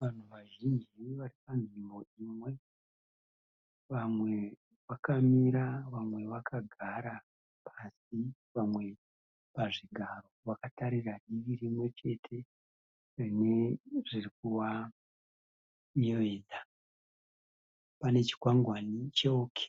Vanhu vazhinji varipanzvimbo imwe. Vamwe vakamira vamwe vakagara pasi vamwe pazvigaro vakatarisa divi rimwe chete rine zvirikuvayevedza. Pane chikwangwani che OK